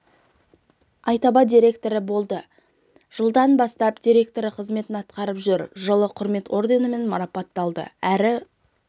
айтаба директоры болды жылдан бастап директоры қызметін атқарып жүр жылы құрмет орденімен марапатталды әр